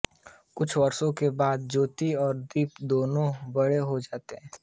कुछ वर्षों के बाद ज्योति और दीपक दोनों बड़े हो जाते हैं